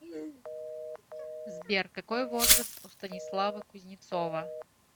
сбер какой возраст у станислава кузнецова